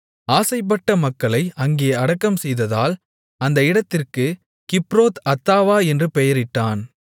ஆசைப்பட்ட மக்களை அங்கே அடக்கம்செய்ததால் அந்த இடத்திற்குக் கிப்ரோத் அத்தாவா என்று பெயரிட்டான்